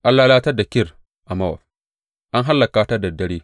An lalatar da Kir a Mowab, an hallaka ta da dare!